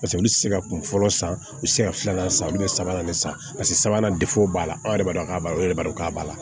Paseke olu tɛ se ka kunfɔlɔ san u bɛ se ka filanan san olu bɛ sabanan de san paseke sabanan b'a la anw yɛrɛ b'a dɔn k'a b'a la olu yɛrɛ b'a dɔn k'a b'a la